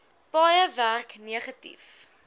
paaie werk negatief